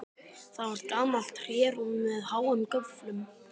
Það var gamalt trérúm með háum göflum.